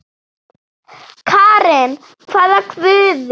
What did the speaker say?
Karen: hvaða guði?